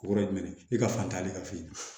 Kɔrɔ ye jumɛn ye e ka fantanya de ka fin